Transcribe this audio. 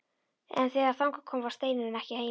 En þegar þangað kom var Steinunn ekki heima.